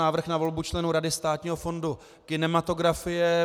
Návrh na volbu členů Rady Státního fondu kinematografie